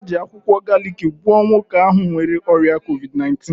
Ha ji akwụkwọ galiki gwọọ nwoke ahụ nwere ọrịa covid 19.